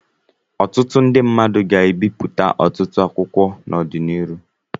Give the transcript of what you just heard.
Ọtụtụ ndị mmadụ ga-ebipụta ọtụtụ akwụkwọ n'ọdịnihu.